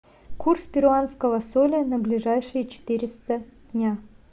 курс перуанского соля на ближайшие четыреста дня